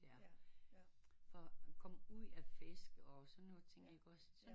For at komme ud og fiske og sådan noget ting ikke også